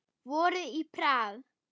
Vorið í Prag